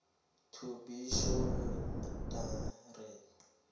to be surrendered